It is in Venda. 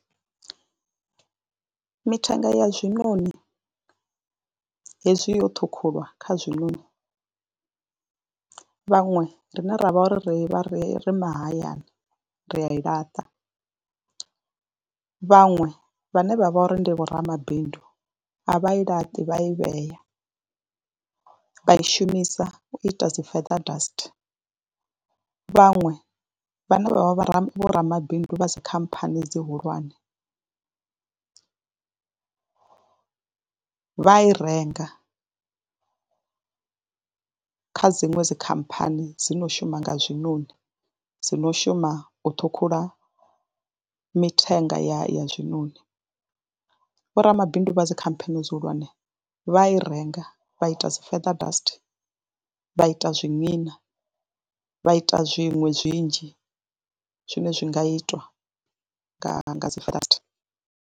Mithenga ya zwiṋoni hezwi yo ṱhukhulwa kha zwiṋoni vhaṅwe rine ra vha ri vha ri ri mahayani ri a i laṱa, vhaṅwe vhane vha vho ri ndi vhoramabindu a vha i laṱi vha a i vhea vha i shumisa u ita dzi feather dust. Vhaṅwe vhane vha vha vhoramabindu vha dzi khamphani dzi hulwane vha i renga kha dziṅwe dzi khamphani dzi no shuma nga zwiṋoni, dzi no shuma u ṱhukhula mithenga ya ya zwiṋoni. Vhoramabindu vha dzi khamphani dzi hulwane vha i renga vha ita dzi feather dust vha ita zwiṅina, vha ita zwiṅwe zwinzhi zwine zwi nga itwa nga nga dzi feather dust.